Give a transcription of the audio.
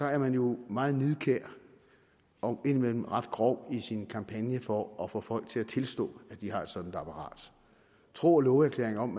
er man jo meget nidkær og indimellem ret grov i sin kampagne for at få folk til at tilstå at de har et sådant apparat tro og love erklæringer om